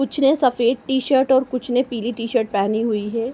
कुछ ने सफ़ेद टीशर्ट और कुछ ने पीली टीशर्ट पहनी हुई है।